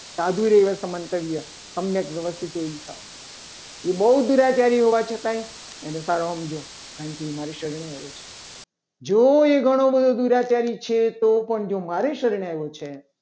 સાધુ મન્તવ્ય પ્રવાષ્ટિ એ બહુ દુરાચારી હોવા છતાં એ કારણકે એ મારી શરણે આવે છે. જો એ દુરાચારી છે. તો તો પણ જો એ મારી શરણે આવ્યો છે.